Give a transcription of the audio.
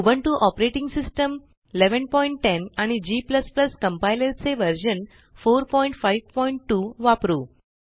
Ubuntu operating system 1110 आणि G compiler चे version 452 वापरू